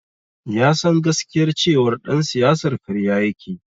Ya san gaskiyar cewar ɗan siyasar karya yake.